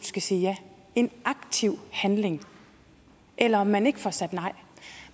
skal sige ja en aktiv handling eller om man ikke får sagt nej